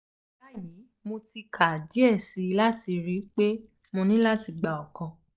bayi mo ti ka diẹ sii ati ro pe mo ni lati gba ọkan